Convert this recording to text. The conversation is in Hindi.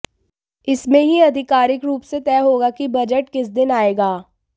इस में ही अधिकारिक रूप से तय होगा कि बजट किस दिन आएगा